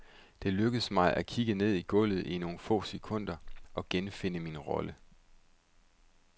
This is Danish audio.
Det lykkes mig at kigge ned i gulvet i nogle få sekunder og genfinde min rolle.